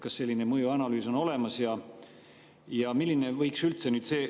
Kas selline mõjuanalüüs on olemas?